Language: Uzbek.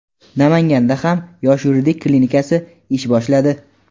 Namanganda ham "Yoshlar yuridik klinikasi" ish boshladi!.